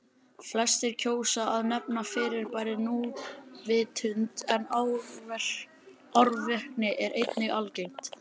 Flestir kjósa að nefna fyrirbærið núvitund en árvekni er einnig algengt.